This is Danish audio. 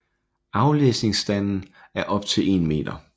Aflæsningsafstanden er op til 1 meter